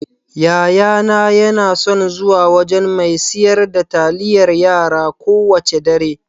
Yayana yana son zuwa wajan mai siyar da taliyar yara kowacce dare.